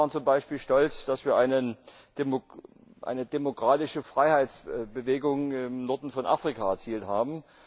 Wir alle waren zum Beispiel stolz, dass wir eine demokratische Freiheitsbewegung im Norden von Afrika erzielt haben.